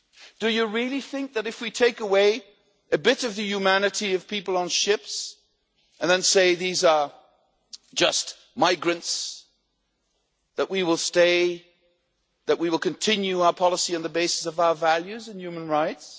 Do you really think that if we take away a bit of the humanity of people on ships and say these are just migrants, that we will continue our policy on the basis of our values and human rights?